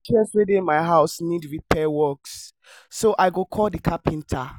all the chairs wey dey my house need repair work so i go call the carpenter